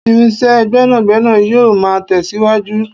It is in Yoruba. irinṣẹ́ gbénàgbénà yíò ma tẹsiwaju